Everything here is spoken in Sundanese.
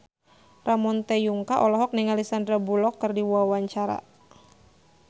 Ramon T. Yungka olohok ningali Sandar Bullock keur diwawancara